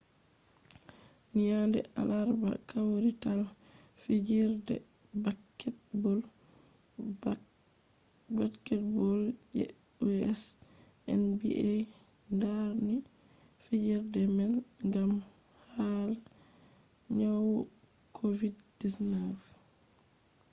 nyande alarba kawrital fijerde baketbol je us nba darni fijerde man gam hala nyawu covid-19